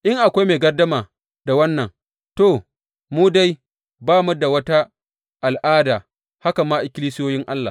In akwai mai gardama da wannan, to, mu dai ba mu da wata al’ada, haka ma ikkilisiyoyin Allah.